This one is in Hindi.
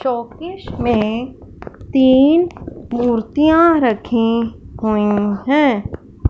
शोकेस में तीन मूर्तियां रखें हुए हैं।